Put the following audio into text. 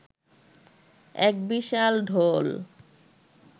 এক বিশাল ঢোল